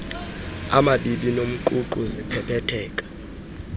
amabibi nomququ ziphephetheka